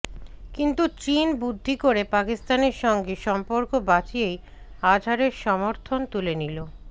কিন্তু চিন বুদ্ধি করে পাকিস্তানের সঙ্গে সম্পর্ক বাঁচিয়েই আজহারের সমর্থন তুলে নিল